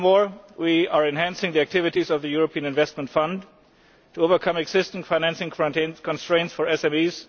Furthermore, we are enhancing the activities of the European Investment Fund to overcome existing financing constraints for SMEs.